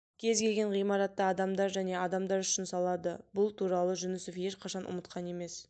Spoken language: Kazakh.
кез келген ғимаратты адамдар және адамдар үшін салады бұл туралы жүнісов ешқашан ұмытқан емес